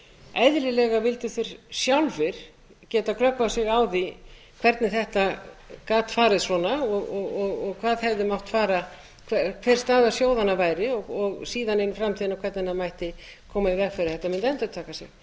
eðlilega vildu þeir sjálfir geta glöggvað sig á svið hvernig þetta gat farið svona og hver staða sjóðanna væri og síðan enn í framtíðina hvernig mætti koma í veg fyrir að þetta mundi endurtaka